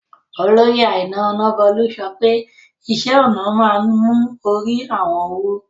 Oloyè Àìnà Ònàbólú sọ̀pẹ̀ ìṣẹ̀-ọnà maa n mú orí àwọn wú